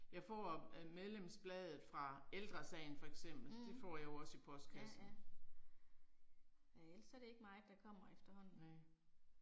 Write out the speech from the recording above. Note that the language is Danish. Mh, ja ja. Ja ellers så er det ikke meget der kommer efterhånden